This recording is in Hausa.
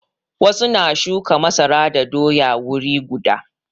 Wasu na shuka masara da doya wuri guda.